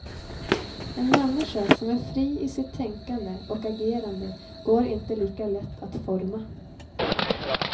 En människa som är fri i sitt tänkande och agerande går inte lika lätt att forma.